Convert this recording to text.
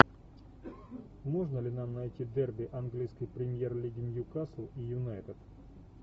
можно ли нам найти дерби английской премьер лиги ньюкасл и юнайтед